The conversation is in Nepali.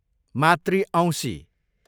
मातृ औँसी